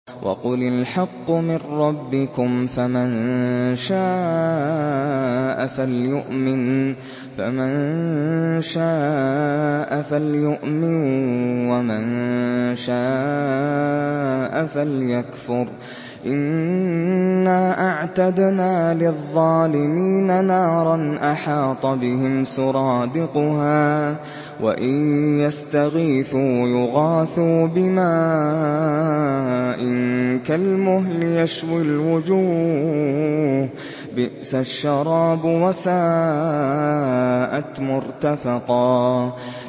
وَقُلِ الْحَقُّ مِن رَّبِّكُمْ ۖ فَمَن شَاءَ فَلْيُؤْمِن وَمَن شَاءَ فَلْيَكْفُرْ ۚ إِنَّا أَعْتَدْنَا لِلظَّالِمِينَ نَارًا أَحَاطَ بِهِمْ سُرَادِقُهَا ۚ وَإِن يَسْتَغِيثُوا يُغَاثُوا بِمَاءٍ كَالْمُهْلِ يَشْوِي الْوُجُوهَ ۚ بِئْسَ الشَّرَابُ وَسَاءَتْ مُرْتَفَقًا